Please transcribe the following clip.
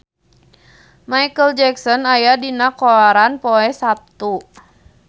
Micheal Jackson aya dina koran poe Saptu